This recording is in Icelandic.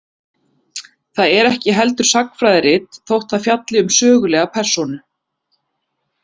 Það er ekki heldur sagnfræðirit, þótt það fjalli um sögulega persónu.